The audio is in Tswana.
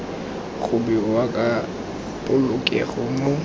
go bewa ka polokego mo